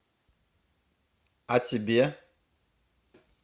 а тебе